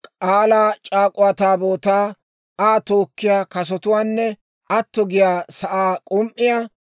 K'aalaa c'aak'uwa Taabootaa, Aa tookkiyaa kasotuwaanne atto giyaa sa'aa k'um"iyaa,